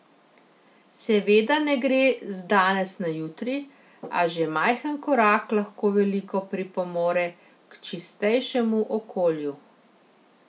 Seveda ne gre z danes na jutri, a že majhen korak lahko veliko pripomore k čistejšemu okolju.